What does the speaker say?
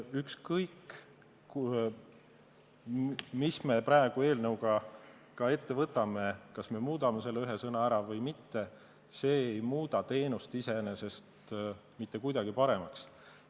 Ükskõik, mis me praegu eelnõuga ka ette võtame, kas me muudame selle ühe sõna seal ära või mitte, see ei muuda teenust iseenesest mitte kuidagi paremaks.